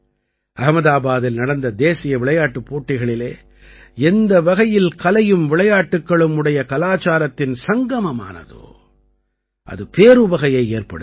அஹ்மதாபாதில் நடந்த தேசிய விளையாட்டுப் போட்டிகளிலே எந்த வகையில் கலையும் விளையாட்டுக்களும் உடைய கலாச்சாரத்தின் சங்கமம் நடந்ததோ அது பேருவகையை ஏற்படுத்தியது